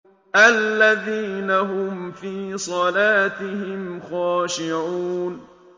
الَّذِينَ هُمْ فِي صَلَاتِهِمْ خَاشِعُونَ